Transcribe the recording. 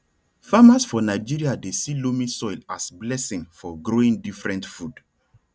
farmers for nigeria dey see loamy soil as blessing for growing different food